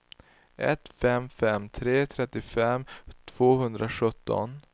ett fem fem tre trettiofem tvåhundrasjutton